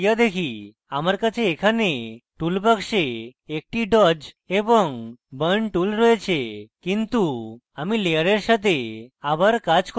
আমার কাছে এখানে tool বাক্সে একটি dodge এবং burn tool রয়েছে কিন্তু আমি layer সাথে আবার কাজ করতে চাই